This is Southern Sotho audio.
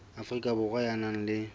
afrika borwa ya nang le